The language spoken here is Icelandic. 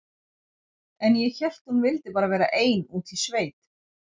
En ég hélt að hún vildi bara vera ein úti í sveit.